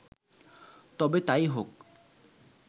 তবে তাই হোক